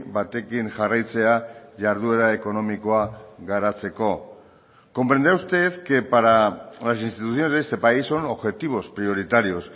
batekin jarraitzea jarduera ekonomikoa garatzeko comprenderá usted que para las instituciones de este país son objetivos prioritarios